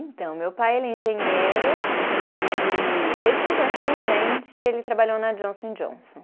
Então, meu pai, ele é engenheiro e ele, desde que eu me conheço por gente, ele trabalhou na Johnson & Johnson.